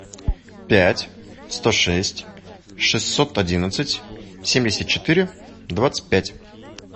пять сто шесть шестьсот одиннадцать семьдесят четыре двадцать пять